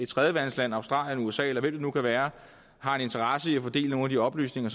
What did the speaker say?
tredjeland australien usa eller hvem det nu kan være har en interesse i at få delt nogle af de oplysninger